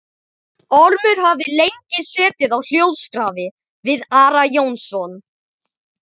Ormur hafði lengi setið á hljóðskrafi við Ara Jónsson.